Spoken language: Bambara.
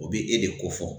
O bi e de ko fɔ